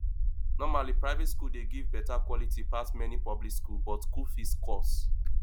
normally private school dey give better quality pass many public school but school fees cost